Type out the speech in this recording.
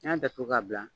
N'i y'a datugu ka bila